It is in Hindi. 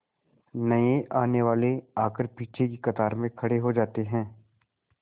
नए आने वाले आकर पीछे की कतार में खड़े हो जाते हैं